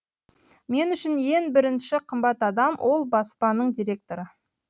мен үшін ен бірінші қымбат адам ол баспаның директоры